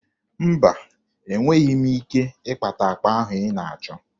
Mba, enweghi m ike ịkpata akpa ahụ ị na-achọ.